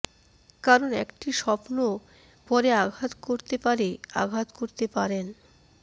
কারণ একটি স্বপ্ন পরে আঘাত করতে পারে আঘাত করতে পারেন